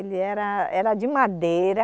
Ele era, era de madeira,